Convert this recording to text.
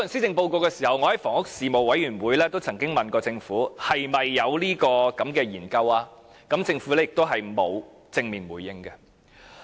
我在房屋事務委員會亦曾經問政府是否有這項研究？政府並無正面回應。